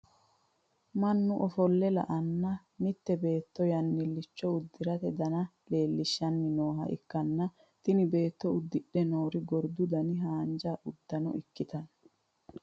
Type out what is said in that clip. mannu ofolle la'anna mitte beetto yannilicho uddirate dana leelishshanni nooha ikkanna, tini beetto uddidhe noori gordu dani haanja uddano ikkitanno.